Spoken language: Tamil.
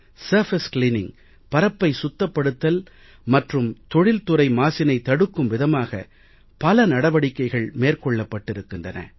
சர்ஃபேஸ் கிளீனிங் பரப்பை சுத்தப்படுத்தல் மற்றும் தொழில்துறை மாசினை தடுக்கும் விதமாக பல நடவடிக்கைகள் மேற்கொள்ளப்பட்டிருக்கின்றன